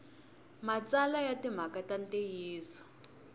matsalwa ya timhaka ta ntiyiso